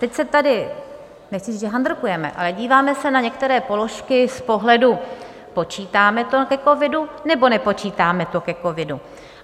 Teď se tady, nechci říct že handrkujeme, ale díváme se na některé položky z pohledu "počítáme to ke covidu nebo nepočítáme to ke covidu".